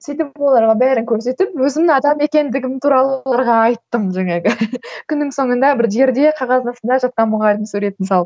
сөйтіп оларға бәрін көрсетіп өзімнің адам екендігім туралы оларға айттым жаңағы күннің соңында бір жерде қағаз астында жатқан мұғалімнің суретін салып